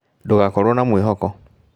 Ndũgakorwo na mwĩhoko